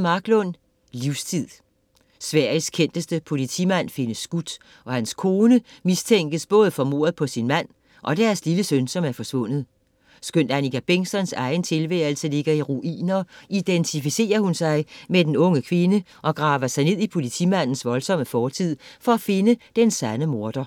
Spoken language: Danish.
Marklund, Liza: Livstid Sveriges kendteste politimand findes skudt, og hans kone mistænkes både for mordet på sin mand og deres lille søn, som er forsvundet. Skønt Annika Bengtzons egen tilværelse ligger i ruiner, identificerer hun sig med den unge kvinde og graver sig ned i politimandens voldsomme fortid for at finde den sande morder.